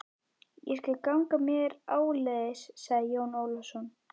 Ég skal ganga með þér áleiðis, sagði Jón Ólafsson.